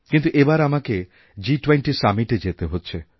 কিন্তু এবার আমাকে G20summit এ যেতে হচ্ছে